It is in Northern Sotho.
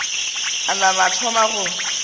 a nama a thoma go